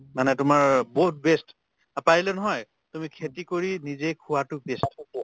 মানে তোমাৰ বহুত best অ পাৰিলে নহয় তুমি খেতি কৰি নিজে খোৱাতো best হ'ব